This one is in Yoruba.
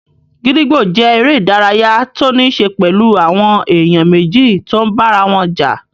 Gídígbò jẹ́ eré ìdárayá tó níí ṣe pẹ̀lú àwọn èèyàn méjì tó n bára wọn jà